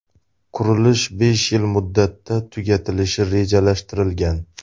Qurilish besh yil muddatda tugatilishi rejalashtirilgan.